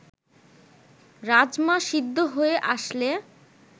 রাজমা সিদ্ধ হয়ে আসলে